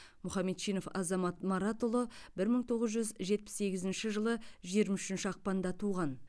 мұхамедчинов азамат маратұлы бір мың тоғыз жүз жетпіс сегізінші жылы жиырма үшінші ақпанда туған